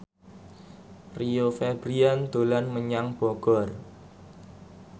Rio Febrian dolan menyang Bogor